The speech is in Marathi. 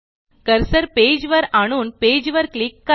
कर्सर पेज वर आणून पेज वर क्लिक करा